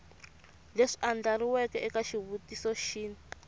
leswi andlariweke eka xivutiso xin